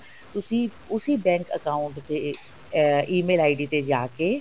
ਤੁਸੀਂ ਉਸੀ bank account ਦੇ ਅਹ EMAIL ID ਤੇ ਜਾਕੇ